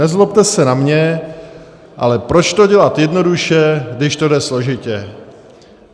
Nezlobte se na mě, ale proč to dělat jednoduše, když to jde složitě.